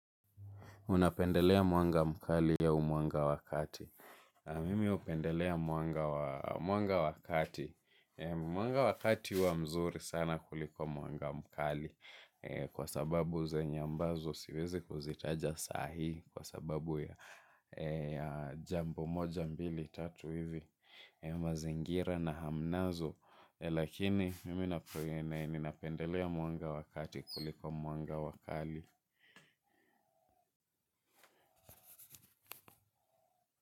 Unapendelea mwanga mkali au mwanga wakati. Mimi upendelea mwanga wakati. Mwanga wakati huwa mzuri sana kuliko mwanga mkali. Kwa sababu zenye ambazo siwezi kuzitaja sahi. Kwa sababu ya jambo moja mbili tatu hivi. Mazingira na hamnazo. Lakini mimi ninapendelea mwanga wa kati kuliko mwanga wa kali.